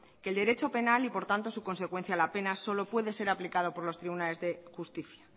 que el derecho penal y por tanto su consecuencia la pena solo puede ser aplicada por los tribunales de justicia